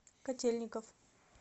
котельников